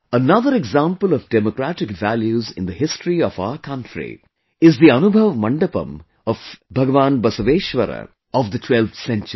Another example of Democratic Values in the history of our country is the Anubhav Mandapam of Lord Basaveshwara of the 12thcentury